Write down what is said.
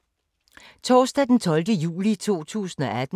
Torsdag d. 12. juli 2018